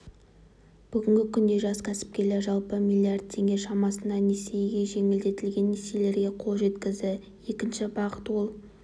бүгінгі күнде жас кәсіпкер жалпы миллиард теңге шамасында несиеге жеңілдетілген несиелерге қол жеткізді екінші бағыт ол